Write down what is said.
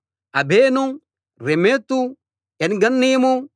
అబెసు రెమెతు ఏన్గన్నీము